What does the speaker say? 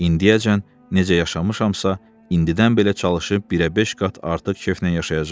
İndiyəcən necə yaşamışamsa, indidən belə çalışıb birəbeş qat artıq keyfnən yaşayacam.